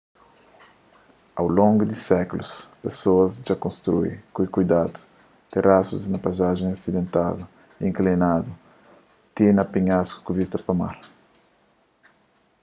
au longu di sékulus pesoas dja konstrui ku kuidadu terasus na paizajens asidentadu y inklinadu ti na penhasku ku vista pa mar